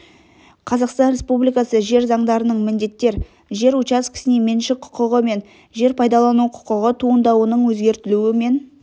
қазақстан республикасы жер заңдарының міндеттер жер учаскесіне меншік құқығы мен жер пайдалану құқығы туындауының өзгертілуі мен